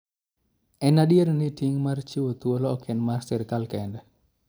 En adier ni, ting' mar chiwo thuolo ok en mar sirkal kende.